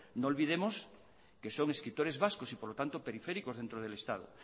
no olvidemos que son escritores vascos y por lo tanto periféricos dentro del estado